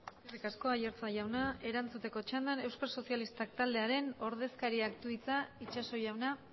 eskerrik asko aiartza jaunak erantzuteko txandan eusko sozialistak taldearen ordezkariak du hitza itxaso jauna